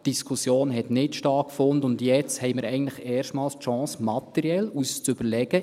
Die Diskussion fand nicht statt, und jetzt haben wir eigentlich erstmals die Chance, uns materiell zu überlegen: